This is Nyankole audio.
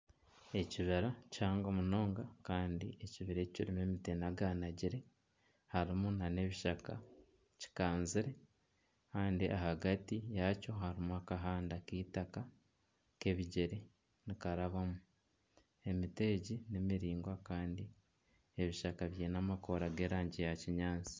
Ekibira kihango munonga kandi ekibira eki kirimu emiti enaganagire harimu nana ebishaka kikanzire kandi ahagati yaakyo harimu akahanda k'eitaka k'ebigyere nikarabamu emiti egi nimiringwa kandi ebishaka biine amakoora g'erangi ya kinyaatsi